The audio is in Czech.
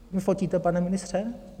Vy fotíte, pane ministře?